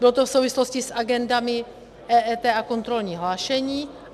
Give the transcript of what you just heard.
Bylo to v souvislosti s agendami EET a kontrolním hlášením.